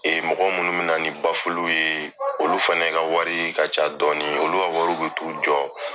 Ee mɔgɔ minnu min na ni bafuluw ye, olu fana ka wari ka ca dɔɔni , olu ka wari bɛ t' u jɔ?